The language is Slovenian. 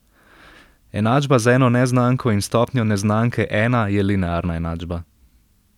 Enačba z eno neznanko in stopnjo neznanke ena je linearna enačba.